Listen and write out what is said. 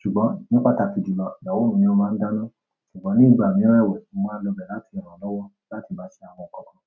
Ṣùgbọ́n ní pàtàkì jùlọ, ìyàwó mi ni ó máa ń dáná. Ṣùgbọ́n ní ìgbà mìíràn ẹwẹ̀, mo máa lọ bẹ̀ láti rànlọ́wọ́ láti bá ṣe àwọn nǹkan kan.